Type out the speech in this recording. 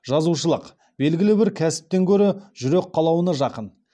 жазушылық белгілі бір кәсіптен гөрі жүрек қалауына жақын